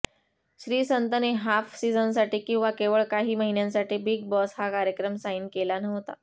श्रीसंतने half सिझनसाठी किंवा केवळ काही महिन्यांसाठी बिग बॉस हा कार्यक्रम साईन केला नव्हता